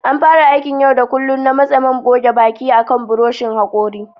An fara aikin yau da kullun na matse man goge baki akan buroshin hakori.